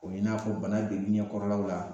O ye n'a fɔ bana bdegu ɲɛkɔrɔlaw la